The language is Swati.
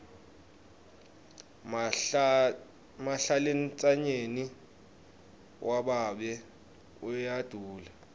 mahlalentsanyeni wababe uyadula